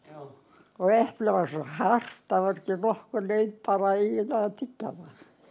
og eplið var svo hart að það var ekki nokkur leið að tyggja það